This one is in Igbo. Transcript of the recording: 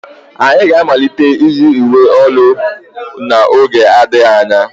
Anyị ga-amalite iyi uwe ụlọ ọrụ n'oge adịghị anya.